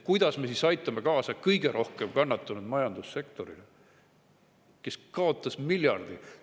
Kuidas me siis aitame kõige rohkem kannatanud majandussektorit, kes kaotas miljardi?